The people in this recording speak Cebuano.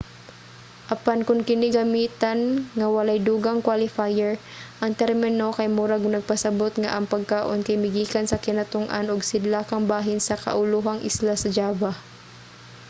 apan kon kini gamitan nga walay dugang qualifier ang termino kay murag nagpasabot nga ang pagkaon kay migikan sa kinatung-an ug sidlakang bahin sa kaulohang isla sa java